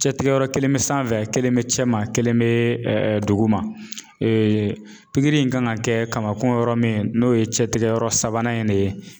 Cɛtigɛyɔrɔ kelen be sanfɛ kelen mɛ cɛman kelen mɛ duguma pikiri in kan ka kɛ kamakun yɔrɔ min n'o ye cɛtigɛ yɔrɔ sabanan in de ye.